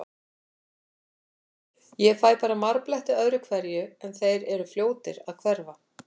Ég fæ bara marbletti öðru hverju, en þeir eru fljótir að hverfa.